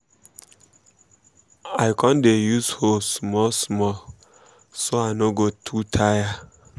i con dey use hoe small small so i no go too tire.